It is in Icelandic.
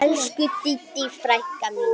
Elsku Didda frænka mín.